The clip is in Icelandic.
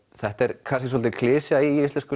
þetta er kannski svolítil klisja í íslenskum